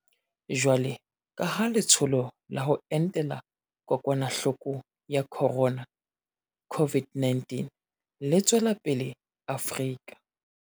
Jwalo ka ha Le tsholo la ho Entela Kokwanahloko ya Khorona, COVID-19, le tswela pele Afrika